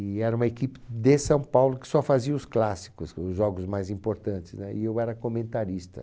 E era uma equipe de São Paulo que só fazia os clássicos, os jogos mais importantes né, e eu era comentarista.